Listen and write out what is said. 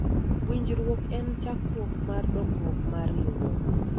winjruok en chakruok mar dongruok mar riwruok